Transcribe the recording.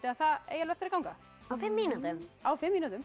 að það eigi eftir að ganga á fimm mínútum á fimm mínútum